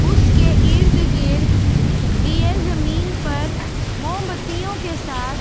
उसके इर्द गिर्द दिये ज़मीन पर मोमबत्तियों के साथ जल।